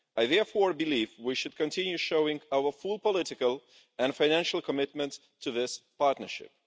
I therefore believe we should continue showing our full political and financial commitment to this partnership.